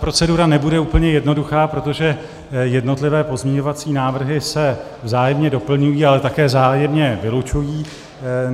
Procedura nebude úplně jednoduchá, protože jednotlivé pozměňovací návrhy se vzájemné doplňují, ale také vzájemné vylučují.